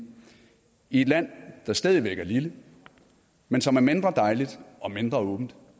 i et land der stadig væk er lille men som er mindre dejligt og mindre åbent